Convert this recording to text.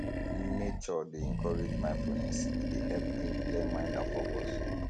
nature dey encourage mindfulness e dey help bring clear mind and focus